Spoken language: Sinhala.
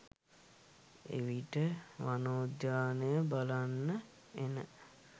එවිට වනෝද්‍යානය බලන්න එන